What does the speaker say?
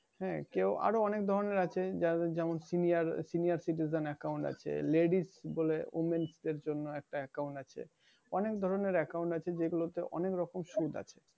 হ্যাঁ কেউ আরো অনেক ধরনের আছে। যাদের যেমন senior, senior-citizen account আছে ladies বলে womens দের জন্য একটা account আছে। অনেকগুলো account আছে যেগুলোতে অনেক ধরনের সুদ আছে।